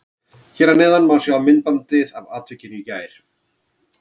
Hér að neðan má sjá myndbandið af atvikinu í gær.